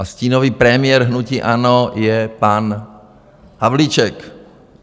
A stínový premiér hnutí ANO je pan Havlíček.